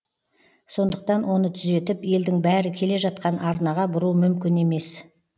сондықтан оны түзетіп елдің бәрі келе жатқан арнаға бұру мүмкін емес